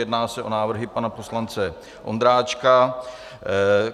Jedná se o návrhy pana poslance Ondráčka.